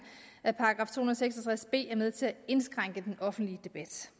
at § to hundrede og seks og tres b er med til at indskrænke den offentlige debat